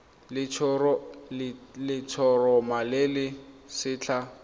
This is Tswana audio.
le letshoroma le le setlha